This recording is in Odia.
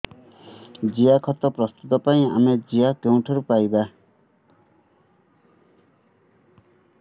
ଜିଆଖତ ପ୍ରସ୍ତୁତ ପାଇଁ ଆମେ ଜିଆ କେଉଁଠାରୁ ପାଈବା